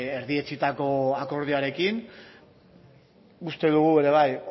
erdietsitako akordioarekin uste dugu ere bai